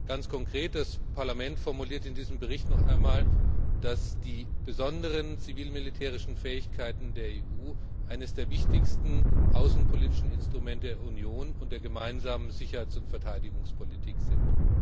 Ganz konkret Das Parlament formuliert in diesem Bericht noch einmal, dass die besonderen zivil militärischen Fähigkeiten der EU eines der wichtigsten außenpolitischen Instrumente der Union und der gemeinsamen Sicherheits und Verteidigungspolitik sind.